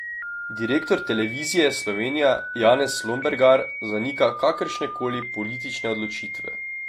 Direktor Televizije Slovenija Janez Lombergar zanika kakršne koli politične odločitve.